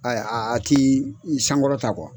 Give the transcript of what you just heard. a t'i sankɔrɔta kuwa.